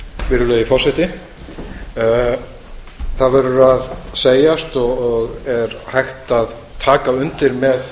virðulegi forseti það verður að segjast og er hægt að taka undir með